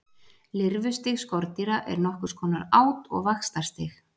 lirfustig skordýra er nokkurs konar át og vaxtarstig